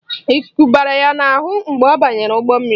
Ikuku bara ya n'ahụ mgbe ọ banyere ụgbọ mmiri.